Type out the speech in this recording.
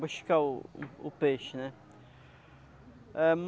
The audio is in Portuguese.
Buscar o um o peixe, né? Ãhm...